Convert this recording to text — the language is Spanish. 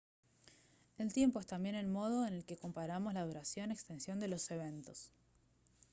el tiempo es también el modo en el que comparamos la duración extensión de los eventos